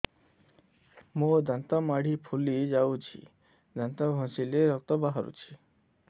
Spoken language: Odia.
ମୋ ଦାନ୍ତ ମାଢି ଫୁଲି ଯାଉଛି ଦାନ୍ତ ଘଷିଲେ ରକ୍ତ ବାହାରୁଛି